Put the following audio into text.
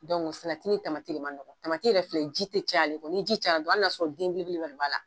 salati ni tamati ne manɔgɔ, tamati yɛrɛ filɛ ji tɛ caya ale kɔrɔ ni ji cayala dɔrɔn ali n'a y'a sɔrɔ den belebeleba de b'a la.